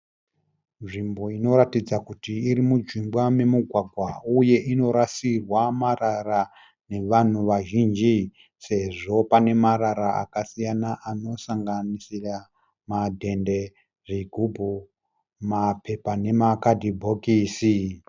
Nzvimbo inoratidza kuti iri mujinga momugwagwa uye inorasirwa marara nevanhu vazhinji sezvo paine marara akasiyana anosanganisira madhende zvigubhu mapepa nema kadhibokisi.